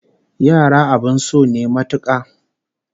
Yara abin so ne matuka